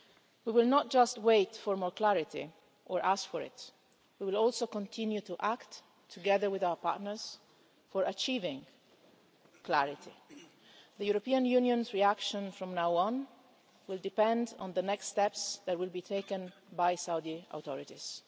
We will not merely wait for more clarity or ask for it we will also continue to act, together with our partners, for achieving clarity. The European Union's reaction from now on will depend on the next steps taken by the Saudi authorities.